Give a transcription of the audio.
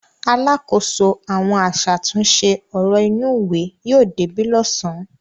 Alákòóso àwọn aṣàtúnṣe ọ̀rọ̀ inúùwé yóò débí lọ́sàn-án.